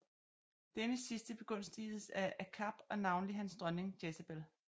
Denne sidste begunstigedes af Akab og navnlig hans dronning Jezabel